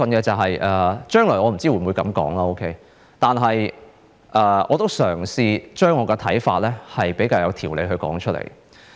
將來我不知我會否這樣說，但我會嘗試將我的看法比較有條理地說出來。